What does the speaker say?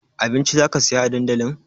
Abinci zaka saya a dandali?